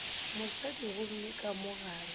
mosadi gomme ka mo gare